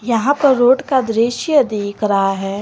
यहां पर रोड का दृश्य दिख रहा है।